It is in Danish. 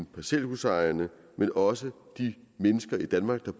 parcelhusejerne men også de mennesker i danmark der